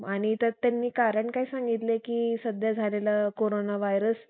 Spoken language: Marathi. आणि त्यात त्यांनी कारण काय सांगितलंय कि सध्या झालेला कोरोना व्हायरस